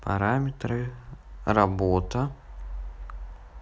параметры работа